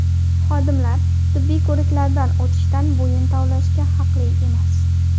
Xodimlar tibbiy ko‘riklardan o‘tishdan bo‘yin tovlashga haqli emas.